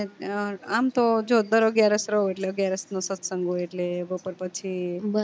આમ તો જો દર અગ્યારસ રવ હોય એટલે અગ્યારસ નું સત્સંગ હોઈ એટલે બપોર પછી